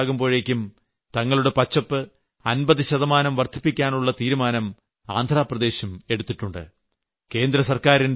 2029 ആകുമ്പോഴേയ്ക്കും തങ്ങളുടെ പച്ചപ്പ് 50 ശതമാനം വർദ്ധിപ്പിക്കാനുള്ള തീരുമാനം ആന്ധ്രാപ്രദേശും എടുത്തിട്ടുണ്ട്